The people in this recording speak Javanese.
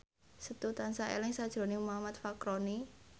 Setu tansah eling sakjroning Muhammad Fachroni